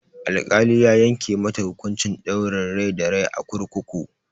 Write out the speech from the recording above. Al-kali ya yanke mata hukunci ɗaurin rai da rai a kurkuku